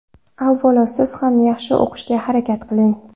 Avvalo, siz ham yaxshi o‘qishga harakat qiling.